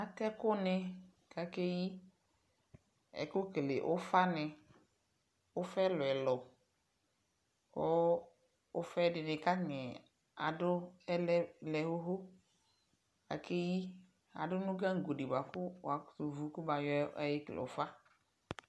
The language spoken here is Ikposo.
Atɛ ɛkʋnɩ kʋ akeyi Ɛkʋ kele ʋfanɩ Ʋfa ɛlʋ-ɛlʋ kʋ ʋfa dɩnɩ aŋɛ adʋ tɛ lɛ lɛ ɣoɣo kʋ akeyi Adʋ nʋ gaŋgo dɩ bʋa kʋ wʋakʋtʋwu kʋmayɔ ekele ʋfa